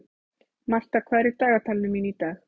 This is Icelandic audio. Martha, hvað er í dagatalinu mínu í dag?